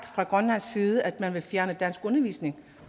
fra grønlandsk side at man vil fjerne danskundervisning